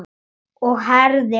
Og herðir að.